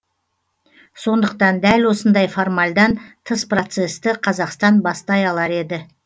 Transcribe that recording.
сондықтан дәл осындай формальдан тыс процессті қазақстан бастай алар еді